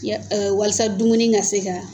Ya walasa dumuni ka se ka.